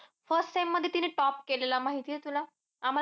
First sem मध्ये तिने top केलेलं, माहितीय तुला? आम्हाला तर